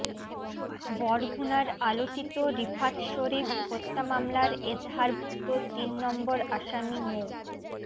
বরগুনার আলোচিত রিফাত শরীফ হত্যা মামলার এজাহারভুক্ত তিন নম্বর আসামি মো